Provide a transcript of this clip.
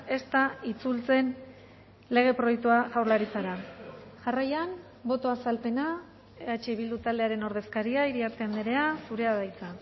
ez da itzultzen lege proiektua jaurlaritzara jarraian botoa azalpena eh bildu taldearen ordezkaria iriarte andrea zurea da hitza